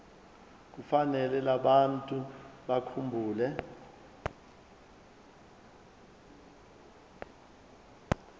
kufanele abantu bakhumbule